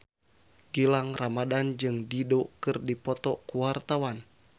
Gilang Ramadan jeung Dido keur dipoto ku wartawan